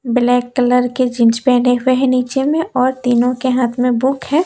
Black colour के jeans पहने हुए हैं नीचे में और तीनों के हाथ में बुक है।